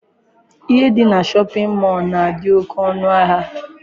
Ihe dị na shọpịn mọọ na-adị oke ọnụahịa.